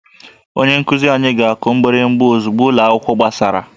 Onye nkuzi anyị ga-akụ mgbịrịgba ozugbo ụlọ akwụkwọ gbachara